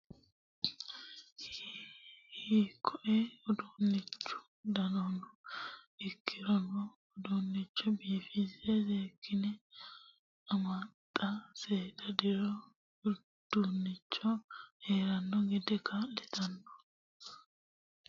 Hiikkoe uduunchu danano ikkirono uduuncho biifise seekkine amaxa seeda diro uduunchu heerano gede kaa'littano ikkininna hakeeshsha huntanori dibatirano ikkino daafira uduuncho amaxa seekkine faayyate.